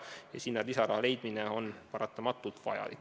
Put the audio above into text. Ja sinna lisaraha leidmine on hädavajalik.